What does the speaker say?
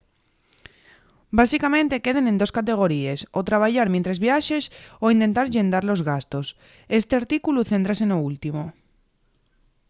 básicamente queden en dos categoríes o trabayar mientres viaxes o intentar llendar los gastos esti artículu céntrase no último